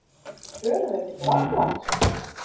Förum við til Grænlands?